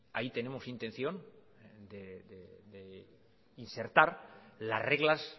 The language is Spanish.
ahí tenemos intención de insertar las reglas